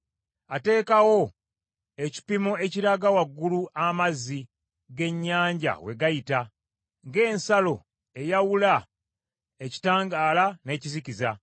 Ateekawo ekipimo ekiraga waggulu amazzi g’ennyanja we gayita, ng’ensalo eyawula ekitangaala n’ekizikiza.